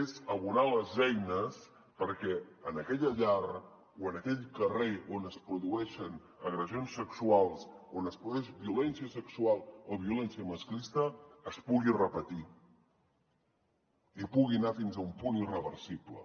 és abonar les eines perquè en aquella llar o en aquell carrer on es produeixen agressions sexuals on es produeix violència sexual o violència masclista es pugui repetir i pugui anar fins a un punt irreversible